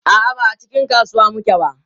a'a ba a cikin kasuwa muke ba